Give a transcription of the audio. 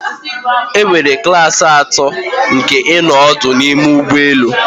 Enwere klasi atọ nke ịnọ ọdụ n'ime ụgbọ elu